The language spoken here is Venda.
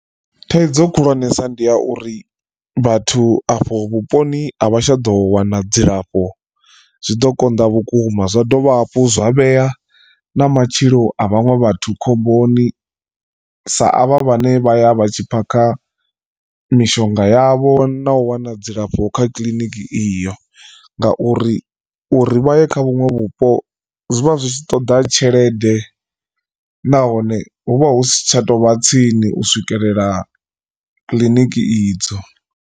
Thaidzo khulwanesa ndi ya uri vhathu afho vhuponi a vha tsha ḓo wana dzilafho zwiḓo konḓa vhukuma zwa dovha hafhu zwa vhea na matshilo a vhaṅwe vhathu khomboni sa avha vhane vhaya vha tshi phakha mishonga yavho na u wana dzilafho kha kiḽiniki iyo. Ngauri uri vha ye kha vhuṅwe vhupo zwivha zwi tshi ṱoḓa tshelede nahone hu vha hu si tsha tovha tsini u swikelela kiḽiniki idzo.